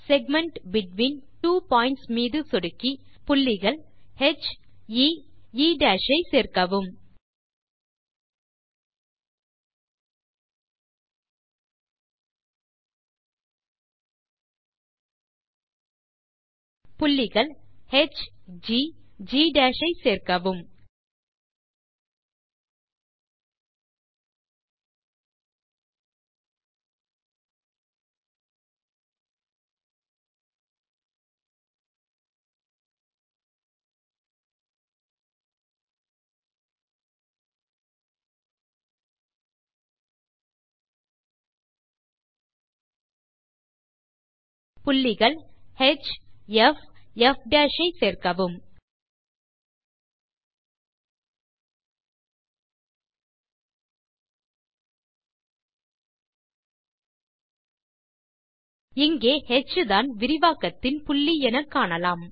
segment between two points மீது சொடுக்கி புள்ளிகள் heஎ ஐ சேர்க்கவும் புள்ளிகள் hgஜி ஐ சேர்க்கவும் புள்ளிகள் hfப் ஐ சேர்க்கவும் இங்கே ஹ் தான் விரிவாக்கத்தின் புள்ளி எனக்காணலாம்